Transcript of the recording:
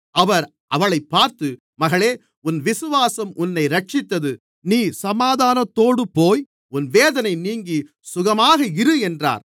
அவர் அவளைப் பார்த்து மகளே உன் விசுவாசம் உன்னை இரட்சித்தது நீ சமாதானத்தோடு போய் உன் வேதனை நீங்கி சுகமாக இரு என்றார்